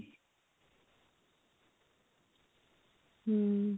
ହୁଁ